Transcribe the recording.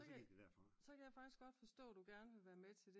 Og så gik det derfra